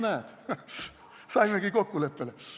No näed, saimegi kokkuleppele.